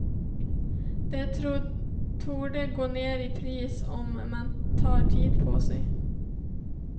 De torde gå ner i pris om man tar tid på sig.